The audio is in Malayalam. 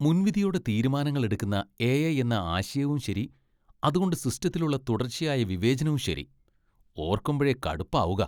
മുൻവിധിയോടെ തീരുമാനങ്ങൾ എടുക്കുന്ന എ.ഐ. എന്ന ആശയവും ശരി, അതുകൊണ്ടു സിസ്റ്റത്തിലുള്ള തുടർച്ചയായ വിവേചനവും ശരി, ഓർക്കുമ്പഴേ കടുപ്പാവുകാ.